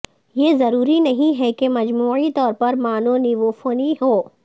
یہ ضروری نہیں ہے کہ مجموعی طور پر مانونیفونی ہو